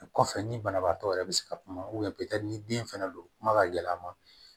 O kɔfɛ ni banabaatɔ yɛrɛ bɛ se ka kuma ni den fɛnɛ don kuma ka gɛlɛn a ma